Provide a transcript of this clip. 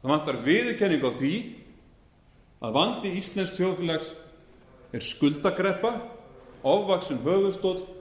það vantar viðurkenningu á því að vandi íslensks þjóðfélags er skuldakreppa ofvaxinn höfuðstóll og